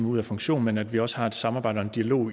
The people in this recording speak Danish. ud af funktion men at vi også har et samarbejde og en dialog